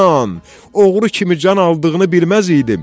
Oğru kimi can aldığını bilməz idim.